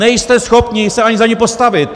Nejste schopni se ani za ni postavit!